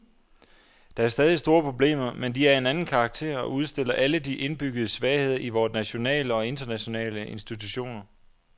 Der er stadig store problemer, men de er af en anden karakter og udstiller alle de indbyggede svagheder i vore nationale og internationale institutioner.